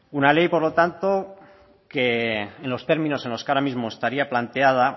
una ley por lo tanto que en los términos en los que ahora mismo estaría planteada